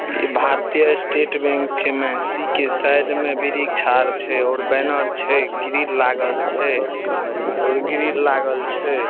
इ भारतीय state bank छै महसी के साइड मे वृक्ष आर छै बैनर छै ग्रिल लागल छै और ग्रिल लागल छै।